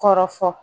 Kɔrɔ fɔ